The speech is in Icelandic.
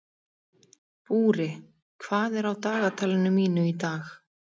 Búri, hvað er á dagatalinu mínu í dag?